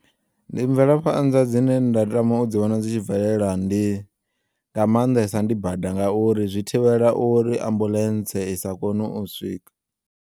Ndi mvelaphanḓa dzine nda tama u dzi vhona dzi tshi bvelela ndi nga maanḓesa ndi bada ngauri zwi thivhela uri ambulentse isa kone u swika.